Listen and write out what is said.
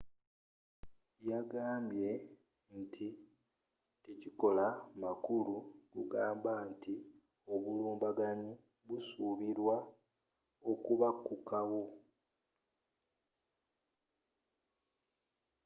yagambye tekikola makulu kugamba nti obulumbaganyi busuubilwa okubakukawo